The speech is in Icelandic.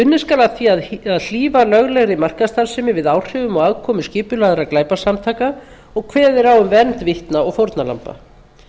unnið skal að því að hlífa löglegri markaðsstarfsemi við áhrifum og aðkomu skipulagðra glæpasamtaka og kveðið er á um vernd vitna og fórnarlamba